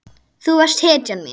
Þú varst hetjan mín.